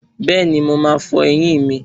Bẹ́ẹ̀ni, mo máa fọ ẹyín mi